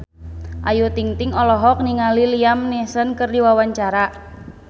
Ayu Ting-ting olohok ningali Liam Neeson keur diwawancara